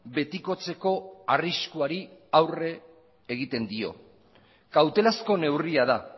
betikotzeko arriskuari aurre egiten dio kautelazko neurria da